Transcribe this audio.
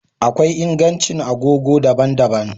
Akwai ingancin agogo daban-daban